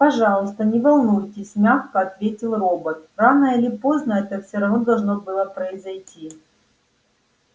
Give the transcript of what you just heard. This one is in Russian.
пожалуйста не волнуйтесь мягко ответил робот рано или поздно это все равно должно было произойти